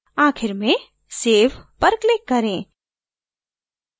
आखिर में save पर click करें